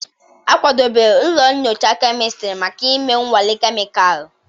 A kwadebere ụlọ nyocha kemịstiri maka ịme nnwale kemịkalụ.